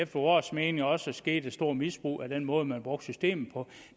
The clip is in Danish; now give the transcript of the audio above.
efter vores mening også skete et stort misbrug af den måde man brugte systemet på